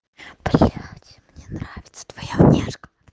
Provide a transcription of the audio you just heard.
приехать мне нравится твоя внешность